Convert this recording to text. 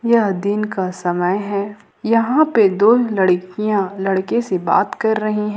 यह दिन का समय है यहां पे दो लड़कियां लड़के से बात कर रही हैं।